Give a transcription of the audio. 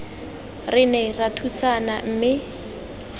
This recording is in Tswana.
re ne ra thusana mme